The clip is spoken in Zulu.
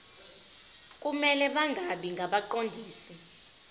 kumele bangabi ngabaqondisi